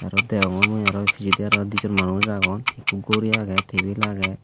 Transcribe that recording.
aro degongor mui aro pijedi aro di jon manuj agon ekku gori agey tebil agey.